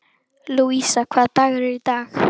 Lúísa, hvaða dagur er í dag?